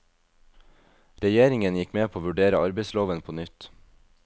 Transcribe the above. Regjeringen gikk med på å vurdere arbeidsloven på nytt.